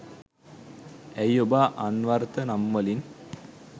ඇයි ඔබ අන්වර්ථ නම්වලින්